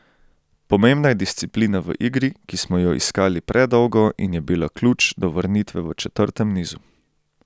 Pomembna je disciplina v igri, ki smo jo iskali predolgo in je bila ključ do vrnitve v četrtem nizu.